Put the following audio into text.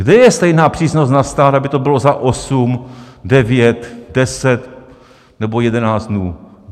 Kde je stejná přísnost na stát, aby to bylo za 8, 9, 10 nebo 11 dnů?